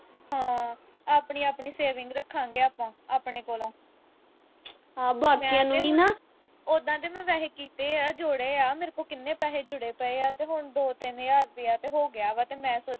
ਹਾਂ, ਆਪਣੀ ਆਪਣੀ saving ਰੱਖਾਂਗੇ ਆਪਾਂ, ਆਪਣੇ ਕੋਲੋਂ। ਉਦੋਂ ਤਾਂ ਮੈਂ ਵੈਸੇ ਕੀਤੇ ਆ, ਜੋੜੇ ਆ। ਮੇਰੇ ਕੋਲ ਕਿੰਨੇ ਪੈਸੇ ਜੋੜੇ ਪਏ ਆ ਤੇ ਹੁਣ ਦੋ-ਤਿੰਨ ਹਜ਼ਾਰ ਰੁਪਈਆ ਤੇ ਹੋ ਗਿਆ ਵਾ ਤੇ ਮੈਂ ਸੋਚਣ ਡਈ ਆਂ।